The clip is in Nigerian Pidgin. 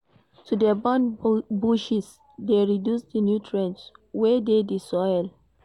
To de burn bushes de reduce di nutrients wey de di soil